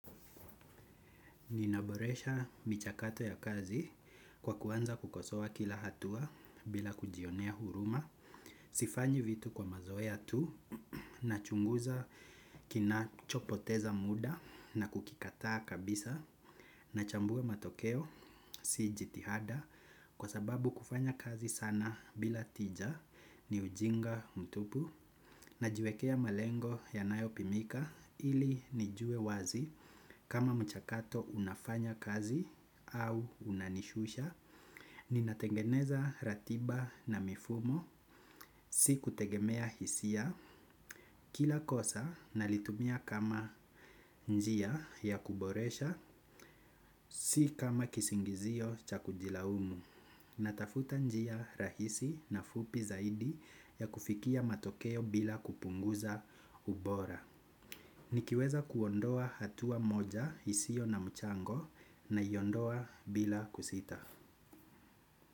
Ninaboresha michakato ya kazi kwa kuanza kukosowa kila hatua bila kujionea huruma, sifanyi vitu kwa mazoeya tu nachunguza kina chopoteza muda na kukikataa kabisa nachambua matokeo si jitihada kwa sababu kufanya kazi sana bila tija ni ujinga mtupu. Najiwekea malengo yanayo pimika ili nijue wazi kama mchakato unafanya kazi au unanishusha. Ninatengeneza ratiba na mifumo, si kutegemea hisia kila kosa nalitumia kama njia ya kuboresha, si kama kisingizio cha kujilaumu natafuta njia rahisi na fupi zaidi ya kufikia matokeo bila kupunguza ubora. Nikiweza kuondoa hatua moja isio na mchango naiondoa bila kusita.